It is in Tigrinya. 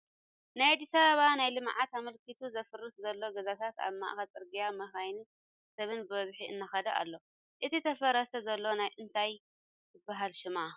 ናይ ኣዲሳበባ ናይ ልምዓት ኣመልኪቱ ዝፈርስ ዘሎ ገዛታት ኣብ ማእከል ፅርግያ መካይንን ሰብን ብበዝሒ እናከደ ኣሎ ። እታ ተፍርስ ዘላ እንታይ ትበሃል ሽማ ?